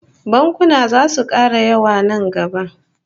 Bankuna zasu kara yawa nan gaba